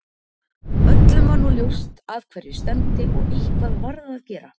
Öllum var nú ljóst að hverju stefndi og eitthvað varð að gera.